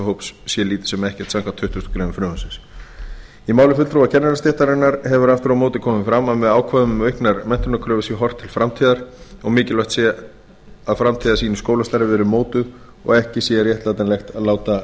hóps sé lítið sem ekkert samkvæmt tuttugustu greinar frumvarpsins í máli fulltrúa kennarastéttarinnar hefur aftur á móti komið fram að með ákvæðum um auknar menntunarkröfur sé horft til framtíðar og mikilvægt sé að framtíðarsýn í skólastarfi verði mótuð og ekki sé réttlætanlegt að